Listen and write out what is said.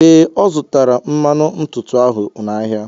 Ee, Ọ zụtara mmanụ ntutu ahụ n'ahịa.